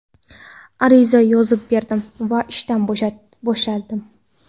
Ariza yozib berdim va ishdan bo‘shadim.